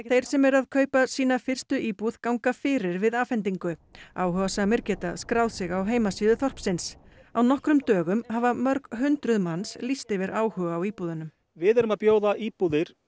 þeir sem eru að kaupa sína fyrstu íbúð ganga fyrir við afhendingu áhugasamir geta skráð sig á heimasíðu þorpsins á nokkrum dögum hafa mörg hundruð manns lýst yfir áhuga á íbúðunum við erum að bjóða íbúðir